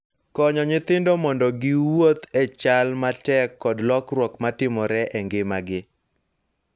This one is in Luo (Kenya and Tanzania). Konyo nyithindo mondo giwuoth e chal matek kod lokruok ma timore e ngimagi.